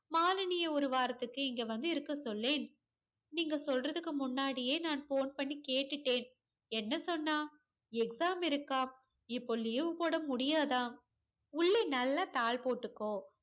மாலினிய ஒரு வாரத்துக்கு இங்க வந்து இருக்க சொல்லேன் நீங்க சொல்றதுக்கு முன்னாடியே நான் phone பண்ணி கேட்டுட்டேன் என்ன சொன்னா exam இருக்கா இப்ப leave போட முடியாதாம் உள்ளே நல்லா தாள் போட்டுக்கோ